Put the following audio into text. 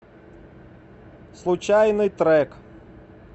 случайный трек